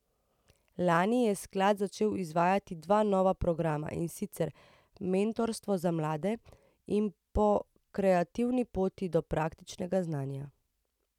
Lani je sklad začel izvajati dva nova programa, in sicer Mentorstvo za mlade in Po kreativni poti do praktičnega znanja.